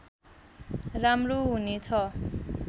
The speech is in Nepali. राम्रो हुने छ